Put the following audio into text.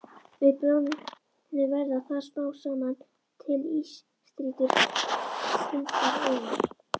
Við bráðnun verða þar smám saman til ísstrýtur huldar auri.